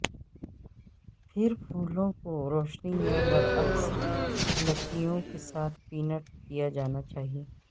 پھر پھولوں کو روشنی یا برعکس لکیوں کے ساتھ پینٹ کیا جانا چاہئے